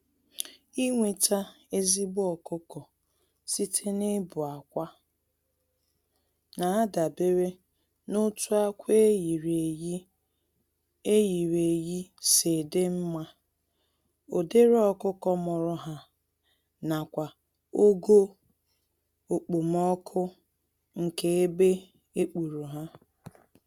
Inweta ezigbo ọkụkọ site na ịbụ-akwa nadabere n'otu ákwà eyiri-eyi eyiri-eyi si dị mmá, ụdịrị ọkụkọ mụrụ ha, nakwa ogo okpomọkụ nke ebe ekpuru há